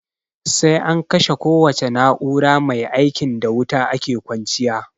Sai an kashe kowace na'ura maia ikin da wuta ake kwanciya.